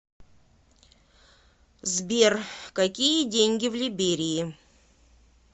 сбер какие деньги в либерии